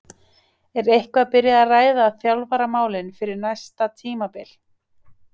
Er eitthvað byrjað að ræða þjálfaramálin fyrir næsta tímabil?